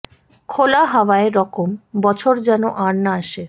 খোলা হাওয়া এ রকম বছর যেন আর না আসে